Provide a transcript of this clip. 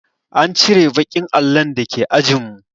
An cire baƙin allon da ke ajin mu